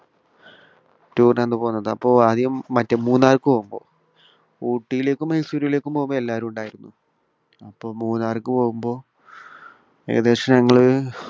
tour ന്റെ അന്ന് . ആദ്യം മറ്റേ മൂന്നാർക്ക് പോകുമ്പോൾ. ഊട്ടിയിലേക്കും മൈസൂറിലേക്കും പോകുമ്പോൾ എല്ലാവരും ഉണ്ടായിരുന്നു. അപ്പോ മൂന്നാർക്ക് പോകുമ്പോൾ ഏകദേശം ഞങ്ങൾ